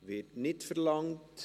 Das Wort wird nicht verlangt.